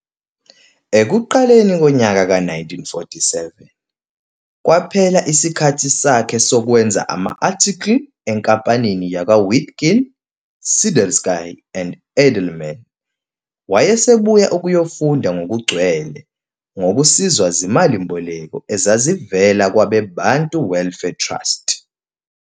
Ekuqaleni konyaka ka 1947, kwaphela isikhathi sakhe sokwenza ama-article enkampanini yakwa-Witkin, Sidelsky and Eidelman, wayesebuyela ukuyofunda ngokugcwele, ngokusizwa zimali-mboleko ezazivela kwabe-Bantu Welfare Trust.